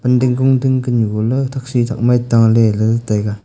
ding gung ding gan gula thakchi ma tale le taga.